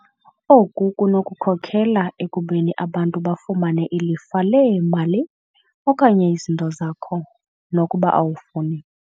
Oku kunokhokela ekubeni abantu bafumane ilifa leemali okanye izinto zakho, nokuba awufuni.